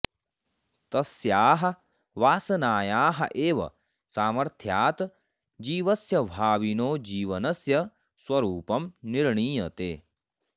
तस्याः वासनायाः एव सामर्थ्यात् जीवस्य भाविनो जीवनस्य स्वरूपं निर्णीयते